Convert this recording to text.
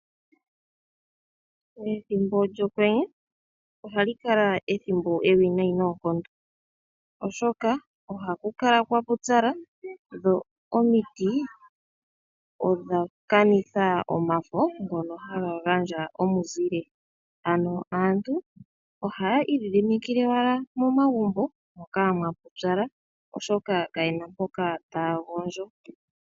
Ethimbo lyOkwenye oha li kala ethimbo ewinayi noonkondo, oshoka oha ku kala kwa pupyala dho omiti odha kanitha omafo ngono ha ga gandja omuzile. Aantu oha ya idhidhimikile wala momagumbo moka mwa pupyala oshoka ka ye na mpoka ta ya gondjo.